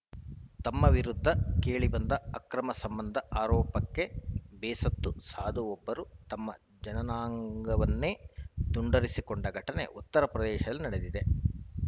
ತಮ್ಮ ವಿರುದ್ಧ ಕೇಳಿಬಂದ ಅಕ್ರಮ ಸಂಬಂಧ ಆರೋಪಕ್ಕೆ ಬೇಸತ್ತ ಸಾಧುವೊಬ್ಬರು ತಮ್ಮ ಜನನಾಂಗವನ್ನೇ ತುಂಡರಿಸಿಕೊಂಡ ಘಟನೆ ಉತ್ತರ ಪ್ರದೇಶದಲ್ಲಿ ನಡೆದಿದೆ